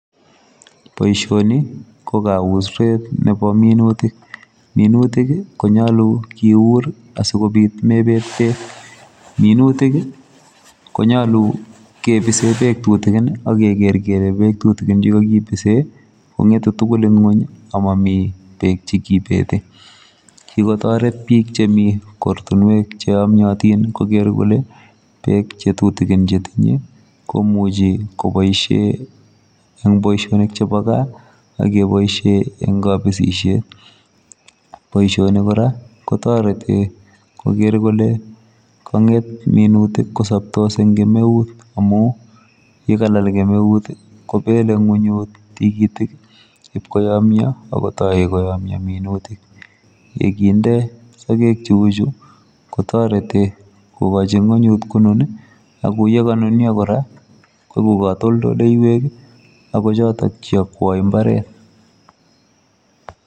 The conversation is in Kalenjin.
Boisioni, ko kaurset nepo minutik. Minutik konyolu kiur asikobit mepet beek, minutik konyolu kepise beek tutikin akeker kele beek tutikin chekakipise kong'etu tukul eng ng'uny amomi beek chekipete. Kikotoret biik chemi kortunwek cheyomyotin koker kole beek chetutinin chetinye komuchi kopoishe eng boishonik chepo gaa akepoishe eng kapisishet. poishoni kora, kotoreti koker kole kang'et minutik kosoptos eng kemeut amu yekalal kemeut kopele ng'unyut tikitik ipkoyomyo akotoi koyomyo minutik. Yekinde sogek cheuchu kotoreti kokochi ng'unyut konun ako yekanunyo kora, kweku katoldoleywek ako chotok cheiakwoi mbaret.